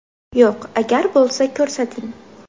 Yo‘q, agar bo‘lsa ko‘rsating.